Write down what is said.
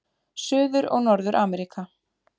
Suður- og Norður-Ameríka